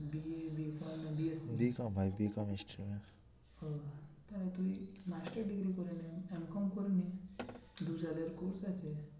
তাহলে তুই master degree করে নে course আছে